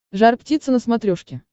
жар птица на смотрешке